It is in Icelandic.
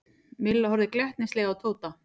Milla horfði glettnislega á Tóta.